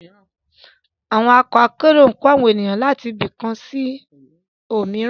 Awọn ọkọ akero n gbe awọn ero lati ibi kan si omiran